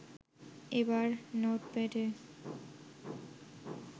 এবার নোটপ্যাডে